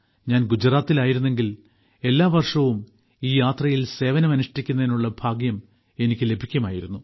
ഞാൻ ഗുജറാത്തിൽ ആയിരുന്നുവെങ്കിൽ എല്ലാവർഷവും ഈ യാത്രയിൽ സേവനം അനുഷ്ഠിക്കുന്നതിനുള്ള ഭാഗ്യം എനിക്കും ലഭിക്കുമായിരുന്നു